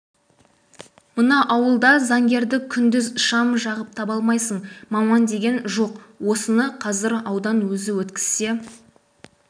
мына ауылда заңгерді күндіз шам жағып таба алмайсын маман деген жоқ осыны қазір аудан өзі өткізсе